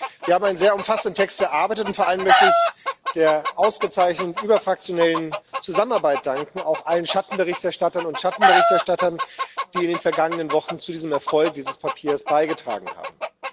Wir haben einen sehr umfassenden Text erarbeitet, und vor allem möchte ich für die ausgezeichnete überfraktionelle Zusammenarbeit danken, auch allen Schattenberichterstatterinnen und Schattenberichterstattern, die in den vergangenen Wochen zu dem Erfolg dieses Papiers beigetragen haben.